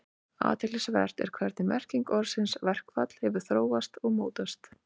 Athyglisvert er hvernig merking orðsins verkfall hefur þróast og mótast.